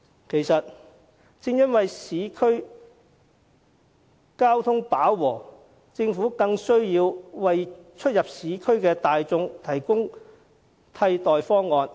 其實，正因為市區交通飽和，政府更有需要為出入市區的大眾提供替代方案。